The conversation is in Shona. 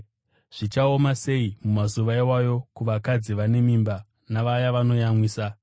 Zvichaoma sei mumazuva iwayo kuvakadzi vane mimba navaya vanoyamwisa!